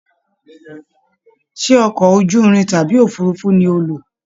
Ṣe ọkọ ojúrin tàbí òfurùnfu ní o lo?